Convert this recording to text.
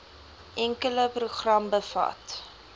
enkele program bevat